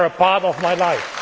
them. They are a part of my